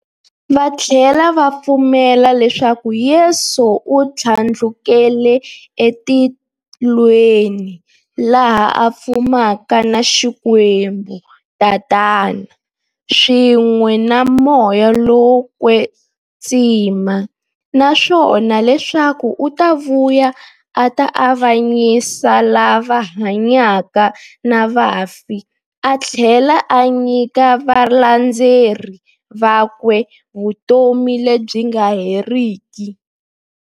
Vathlela va pfumela leswaku Yesu u thlandlukele e matilweni, laha a fumaka na Xikwembu-Tatana, swin'we na Moya lowo kwetsima, naswona leswaku u ta vuya a ta avanyisa lava hanyaka na vafi athlela a nyika valandzeri vakwe vutomi lebyi nga heriki.